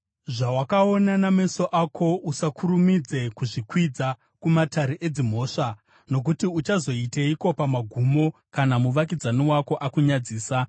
Zvawakaona nameso ako usakurumidze kuzvikwidza kumatare edzimhosva, nokuti uchazoiteiko pamagumo, kana muvakidzani wako akakunyadzisa?